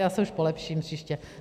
Já se už polepším příště.